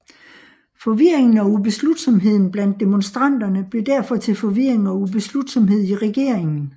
Forvirringen og ubeslutsomheden blandt demonstranterne blev derfor til forvirring og ubeslutsomhed i regeringen